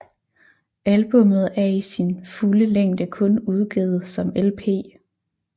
Albummet er i sin fulde længde kun udgivet som LP